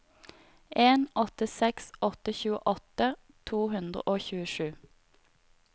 en åtte seks åtte tjueåtte to hundre og tjuesju